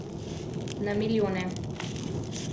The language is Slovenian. Na milijone.